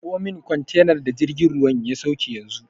Karɓo min kwantenar da jirgin ruwan ya sauke yanzu!